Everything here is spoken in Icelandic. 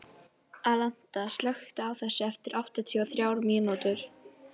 Alanta, slökktu á þessu eftir áttatíu og þrjár mínútur.